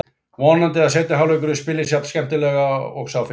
Vonandi að seinni hálfleikurinn spilist jafn skemmtilega og sá fyrri.